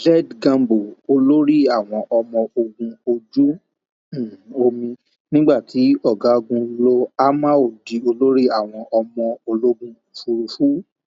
um z gambo olórí àwọn ọmọ ogun ojú um omi nígbà tí ọgágun lo amao di olórí àwọn ọmọ ológun òfurufú